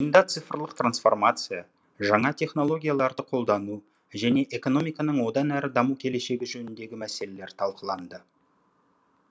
жиында цифрлық трансформация жаңа технологияларды қолдану және экономиканың одан әрі даму келешегі жөніндегі мәселелер талқыланды